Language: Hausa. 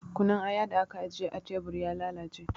Kunun aya da aka ajiye a tebur ya lalace